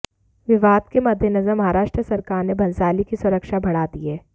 विवाद के मद्देनजर महाराष्ट्र सरकार ने भंसाली की सुरक्षा बढ़ा दी है